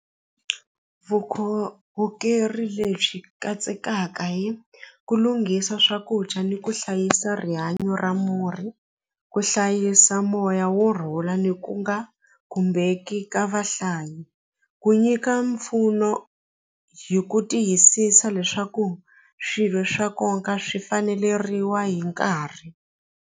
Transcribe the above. lebyi katsekaka hi ku lunghisa swakudya ni ku hlayisa rihanyo ra murhi ku hlayisa moya wo rhula ni ku nga khumbeki ka vahlayi ku nyika mpfuno hi ku tiyisisa leswaku swilo swa nkoka swi faneleriwa hi nkarhi.